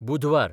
बुधवार